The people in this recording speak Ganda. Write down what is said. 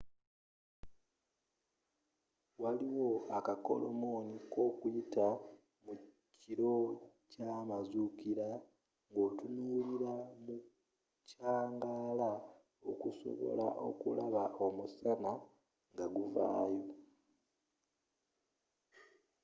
waliwo akakolomoni kokuyita mu kiro kyamazuukira ngotunula mu kyangaala okusobola okulaba omusana ngaguvaayo